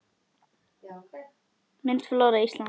Mynd: Flóra Íslands